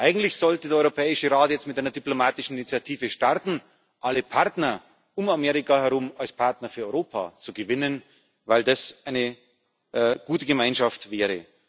Eigentlich sollte der Europäische Rat jetzt mit einer diplomatischen Initiative starten, alle Partner um Amerika herum als Partner für Europa zu gewinnen, weil das eine gute Gemeinschaft wäre.